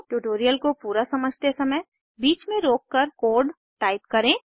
tutorial को पूरा समझते समय बीच में रोककर कोड टाइप करें